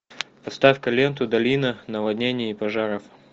поставь ка ленту долина наводнений и пожаров